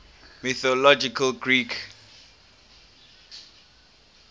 mythological greek archers